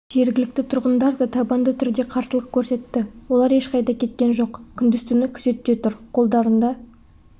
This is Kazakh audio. жергілікті тұрғындар да табанды түрде қарсылық көрсетті олар ешқайда кеткен жоқ күндіз-түні күзетте тұр қолдарында